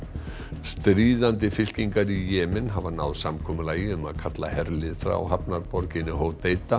stríðandi fylkingar í Jemen hafa náð samkomulagi um að kalla herlið frá hafnarborginni